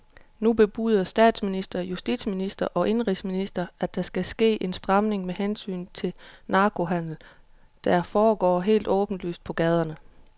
Nu bebuder både statsminister, justitsminister og indenrigsminister, at der skal ske en stramning med hensyn til narkohandelen, der foregår helt åbenlyst på gaderne.